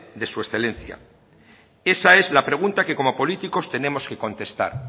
de su excelencia esa es la pregunta que como políticos tenemos que contestar